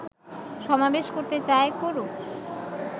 সমাবেশ করতে চায়, করুক